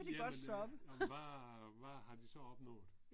jamen øh jamen hvad hvad har de så opnået?